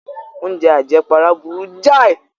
Oúnjẹ àjẹpara burú jáì.